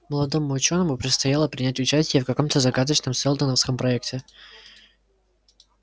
молодому учёному предстояло принять участие в каком-то загадочном сэлдоновском проекте